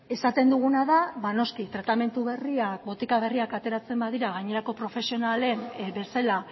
esaten duguna da ba noski tratamendu berriak botika berriak ateratzen badira gainerako profesionalek bezala